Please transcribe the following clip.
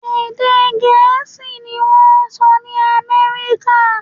Èdè Gẹ̀ẹ́sì ni wọ́n ń sọ ní Amẹ́ríkà